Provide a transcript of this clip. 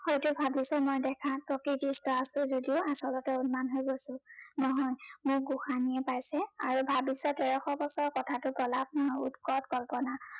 হয়তো ভাবিছ মই দেখাত প্ৰকৃতিস্থ আছো যদিও আচলতে উদ্মাদ হৈ গৈছো, নহয় মোক গোসাঁনীয়ে পাইছে। আৰু ভাবিছ তেৰশ বছৰৰ কথাটো প্ৰলাপ নে উদ্ভট কল্পনা